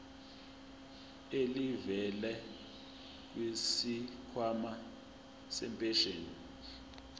elivela kwisikhwama sempesheni